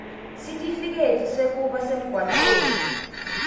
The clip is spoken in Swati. sitifiketi sekuba semgwaceni